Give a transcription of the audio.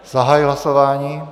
Zahajuji hlasování.